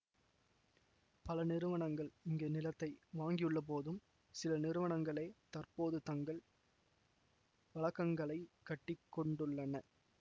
பல நிறுவனங்கள் இங்கு நிலத்தை வாங்கியுள்ளபோதும் சில நிறுவனங்களே தற்போது தங்கள் வளக்கங்களைக் கட்டி கொண்டுள்ளன